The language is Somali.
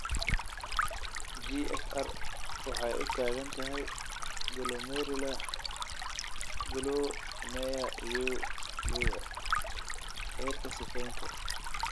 GFR waxay u taagan tahay glomerular (Glow MAIR you lure) heerka sifaynta.